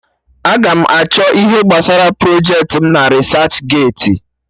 Aga m achọ ihe gbasara ọrụ projecti m na Risach geeti